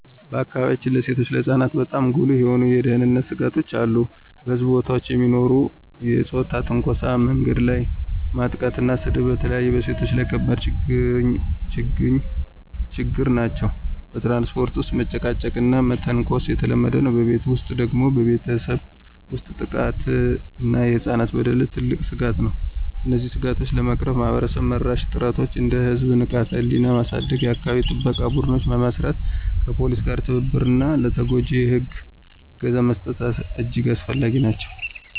በአካባቢያችን ለሴቶችና ለህፃናት በጣም ጉልህ የሆኑ የደህንነት ስጋቶች አሉ። በሕዝብ ቦታዎች የሚኖሩ የፆታ ትንኮሳ፣ መንገድ ላይ ማጥቃትና ስድብ በተለይ በሴቶች ላይ ከባድ ችግኝ ናቸው። በትራንስፖርት ውስጥ መጨቃጨቅና መተንኮስ የተለመደ ነው። በቤት ውስጥ ደግሞ ቤተሰብ ውስጥ ጥቃት እና የህፃናት በደል ትልቅ ስጋት ነው። እነዚህን ስጋቶች ለመቅረፍ ማህበረሰብ-መራሽ ጥረቶች እንደ የህዝብ ንቃተ-ህሊና ማሳደግ፣ የአካባቢ ጥበቃ ቡድኖች መመስረት፣ ከፖሊስ ጋር ትብብር እና ለተጎጂዎች የህግ እገዛ መስጠት እጅግ አስፈላጊ ናቸው።